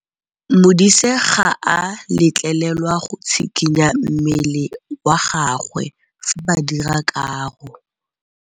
Modise ga a letlelelwa go tshikinya mmele wa gagwe fa ba dira karô.